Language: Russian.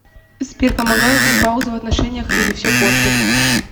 сбер помогают ли паузы в отношениях или все портят